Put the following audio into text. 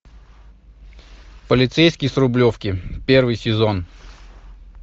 полицейский с рублевки первый сезон